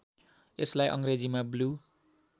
यसलाई अङ्ग्रेजीमा ब्लु